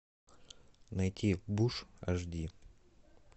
найти буш аш ди